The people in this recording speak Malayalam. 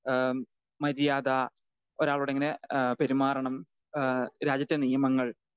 സ്പീക്കർ 2 ഏഹ്മ് മര്യാദ, ഒരാളോടെങ്ങനെ ഏഹ് പെരുമാറണം, ഏഹ് രാജ്യത്തെ നിയമങ്ങൾ